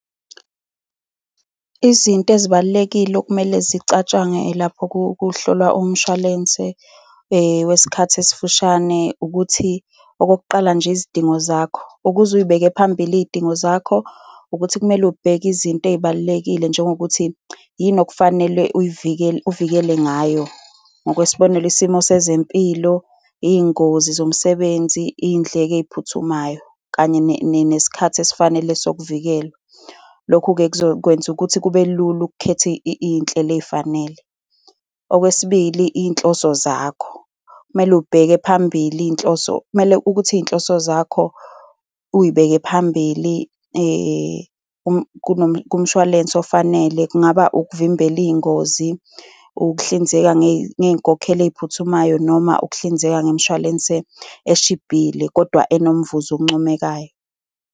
Izinto ezibalulekile okumele zicatshangwe lapho kuhlolwa umshwalense wesikhathi esifushane, ukuthi okokuqala nje, izidingo zakho, ukuze uy'beke phambili iy'dingo zakho, ukuthi kumele ubheke izinto ey'balulekile njengokuthi, yini okufanele uyivikele, uvikele ngayo. Ngokwesibonelo, isimo sezempilo, iy'ngozi zomsebenzi, iy'ndleko ey'phuthumayo, kanye nesikhathi esifanele sokuvikelwa. Lokhu-ke kuzokwenza ukuthi kube lula ukukhetha iy'nhlelo ey'fanele. Okwesibili, iy' nhloso zakho, kumele ubheke phambili izinhloso, kumele ukuthi izinhloso zakho uyibeke phambili kumshwalense ofanele. Kungaba ukuvimbela iy'ngozi, ukuhlinzeka ngey'nkokhelo ey'phuthumayo noma ukuhlinzeka ngemishwalense eshibhile kodwa enomvuzo oncomekayo.